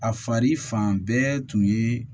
A fari fan bɛɛ tun ye